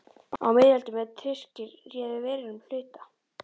Á miðöldum, er Tyrkir réðu verulegum hluta